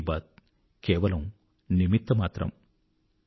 మన్ కీ బాత్ కేవలము నిమిత్తమాత్రము